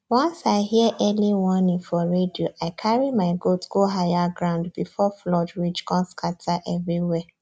once i hear early warning for radio i carry my goat go higher ground before flood reach come scatter everywhere